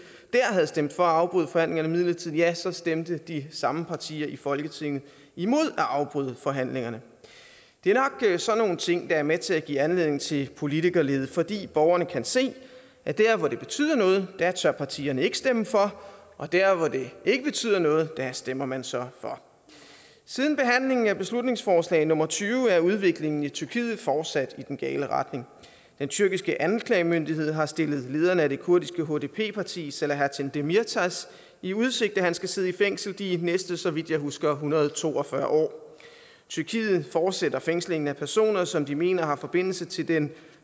havde stemt for at afbryde forhandlingerne midlertidigt ja så stemte de samme partier i folketinget imod at afbryde forhandlingerne det er nok sådan nogle ting der er med til at give anledning til politikerlede fordi borgerne kan se at der hvor det betyder noget tør partierne ikke stemme for og der hvor det ikke betyder noget stemmer man så for siden behandlingen af beslutningsforslag nummer b tyve er udviklingen i tyrkiet fortsat i den gale retning den tyrkiske anklagemyndighed har stillet lederen af det kurdiske hdp parti selahattin demirtas i udsigt at han skal sidde i fængsel de næste så vidt jeg husker en hundrede og to og fyrre år tyrkiet fortsætter fængslingen af personer som de mener har forbindelse til den